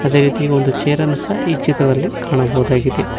ಅದೇ ರೀತಿ ಒಂದು ಚೇರನ್ನು ಸಹ ಈ ಚಿತ್ರದಲ್ಲಿ ಕಾಣಬಹುದಾಗಿದೆ.